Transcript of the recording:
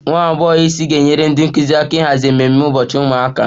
Nwa agbọghọ isi ga-enyere ndị nkụzi aka n'ịhazi ememe ụbọchị ụmụaka